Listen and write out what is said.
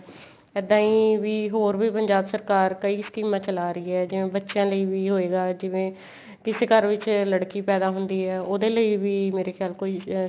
ਇੱਦਾਂ ਈ ਵੀ ਹੋਰ ਵੀ ਪੰਜਾਬ ਸਰਕਾਰ ਕਈ ਸਕੀਮਾ ਚਲਾ ਰਹੀ ਏ ਜਿਵੇਂ ਬੱਚਿਆਂ ਲਈ ਵੀ ਹੋਏਗਾ ਜਿਵੇਂ ਕਿਸੇ ਘਰ ਵਿੱਚ ਲੜਕੀ ਪੈਦਾ ਹੁੰਦੀ ਏ ਉਹਦੇ ਲਈ ਵੀ ਮੇਰੇ ਖਿਆਲ ਕੋਈ ਅਹ